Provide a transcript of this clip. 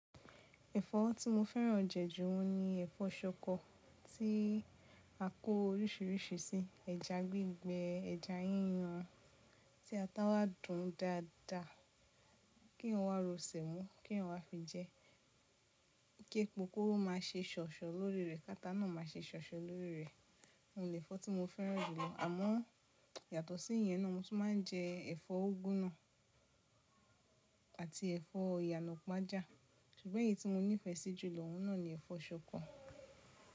Ẹ̀fọ́ tí mo fẹ́ràn jẹ̀jù ọun ni ẹ̀fọ́ ṣọkọ, tí a kó oríṣiríṣi sí, ẹja gbígbẹ, ẹja yíyan tí atá wá dùn dáadáa kí eeyan wá ro sèmó, kí eeyan wá fi jẹ́, kí epo kó má ṣe ṣọ̀ṣọ̀ lórí rẹ̀, k'átá náà má ṣe ṣọ̀ṣọ̀ lórí rẹ̀. Ohun le ẹ̀fọ́ tí mo fẹ́ràn jùlọ. Àmọ́ yàtọ̀ sí ìyẹn náà, mo tún máa ń jẹ ẹ̀fọ́ úgwú nà àti ẹ̀fọ́ ìyànàpàjà. Ṣùgbọ́n èyí tí mo nífẹ̀ẹ́ sí jùlọ, òun náà ni ẹ̀fọ́ ṣọkọ.